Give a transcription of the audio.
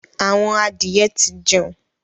Àwọn adìye tí jẹun.